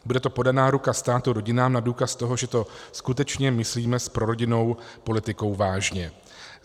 Bude to podaná ruka státu rodinám na důkaz toho, že to skutečně myslíme s prorodinnou politikou vážně.